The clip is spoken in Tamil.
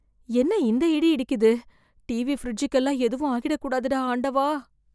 என்ன இந்த இடி இடிக்குது! டிவி, பிரிட்ஜுக்கெல்லாம் எதுவும் ஆகிடக்கூடாது டா ஆண்டவா!